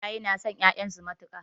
Iyaye na son ƴaƴan su matuƙa